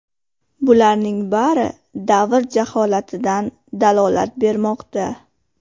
Bularning bari davr jaholatidan dalolat bermoqda.